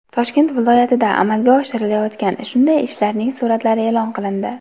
Toshkent viloyatida amalga oshirilayotgan shunday ishlarning suratlari e’lon qilindi.